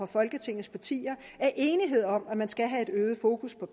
folketingets partier er enighed om at man skal have et øget fokus på